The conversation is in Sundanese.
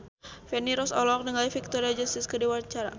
Feni Rose olohok ningali Victoria Justice keur diwawancara